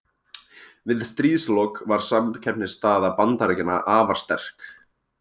Við stríðslok var samkeppnisstaða Bandaríkjanna afar sterk.